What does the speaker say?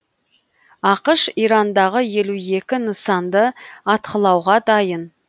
ақш ирандағы елу екі нысанды атқылауға дайын